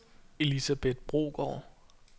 Elisabeth Brogaard